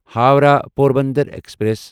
Howrah Porbandar express